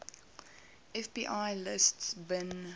fbi lists bin